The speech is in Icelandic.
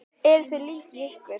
Eruð þið lík í ykkur?